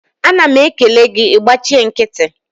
a na m ekele gi, i gbachi nkiti